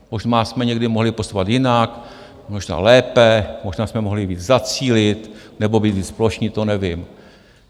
Možná jsme někde mohli postupovat jinak, možná lépe, možná jsme mohli víc zacílit nebo být víc plošní, to nevím.